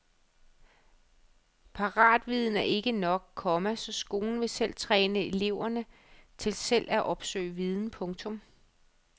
Paratviden er ikke nok, komma så skolen vil træne eleverne til selv at opsøge viden. punktum